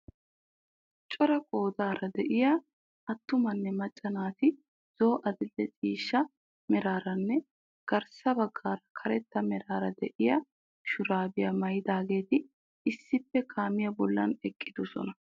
Cora qoodara de'iyaa attumanne macca naati zo'o adil'e ciishsha meraaranne garssa baggaara karetta meraara de'iyaa shuraabiyaa maayidaageti issippe kaamiyaa bolli eqqidoosona.